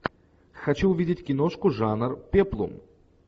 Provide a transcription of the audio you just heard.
хочу увидеть киношку жанр пеплум